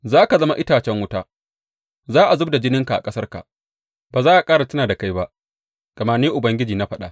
Za ka zama itacen wuta, za a zub da jininka a ƙasarka, ba za a ƙara tuna da kai ba; gama Ni Ubangiji na faɗa.